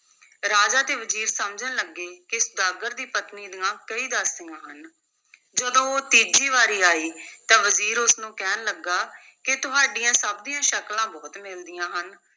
ਰਾਜਾ ਤੇ ਵਜ਼ੀਰ ਸਮਝਣ ਲੱਗੇ ਕਿ ਸੁਦਾਗਰ ਦੀ ਪਤਨੀ ਦੀਆਂ ਕਈ ਦਾਸੀਆਂ ਹਨ ਜਦੋਂ ਉਹ ਤੀਜੀ ਵਾਰ ਆਈ, ਤਾਂ ਵਜ਼ੀਰ ਉਸ ਨੂੰ ਕਹਿਣ ਲੱਗਾ ਕਿ ਤੁਹਾਡੀਆਂ ਸਭ ਦੀਆਂ ਸ਼ਕਲਾਂ ਬਹੁਤ ਮਿਲਦੀਆਂ ਹਨ।